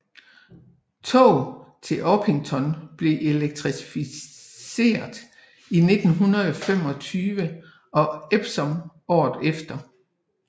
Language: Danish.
Tog til Orpington blev elektrificeret i 1925 og Epsom året efter